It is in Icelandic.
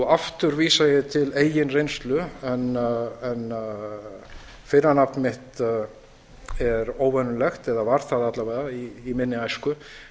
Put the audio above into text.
aftur vísa ég til eigin reynslu en fyrra nafni mitt er óvenjulegt eða var það alla vega í minni æsku